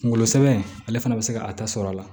Kunkolo sɛbɛn ale fana bɛ se ka a ta sɔrɔ a la